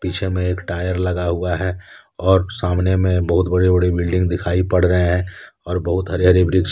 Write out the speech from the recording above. पीछे में एक टायर लगा हुआ है और सामने में बहुत बड़े बड़े बिल्डिंग दिखाई पड़ रहे हैं और बहुत हरे हरे वृक्ष हैं।